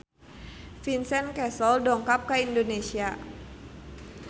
Vincent Cassel dongkap ka Indonesia